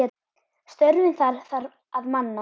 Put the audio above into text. Störfin þar þarf að manna.